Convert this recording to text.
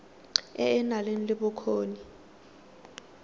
e e nang le bokgoni